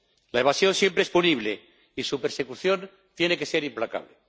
La evasión siempre es punible y su persecución tiene que ser implacable.